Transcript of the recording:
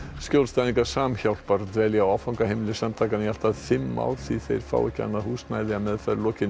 skjólstæðingar Samhjálpar dvelja á áfangaheimili samtakanna í allt að fimm ár því þeir fá ekki annað húsnæði að meðferð lokinni